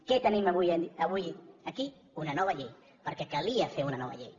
què tenim avui aquí una nova llei perquè calia fer una nova llei